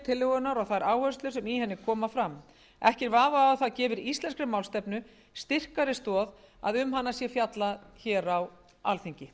tillögunnar og þær áherslur sem í henni koma fram ekki er vafi á að það gefur íslenskri málstefnu styrkari stoð að um hana sé fjallað á alþingi